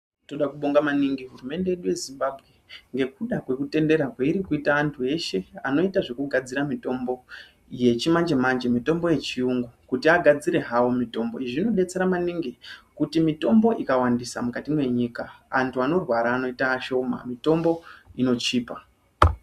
Toda kubonga maningi hurumende yedu yeZimbabwe ngekuda kwekutendera kweirikuita antu eshe anoita zvekugadzira mutombo yechimanje manje mitombo yechiyungu kuti agdzire hawo mutombo izvi zvinobetsera maningi kuti mitombo ikawandisa mukati menyika antu anorwara anoita ashoma mitombo inochipa.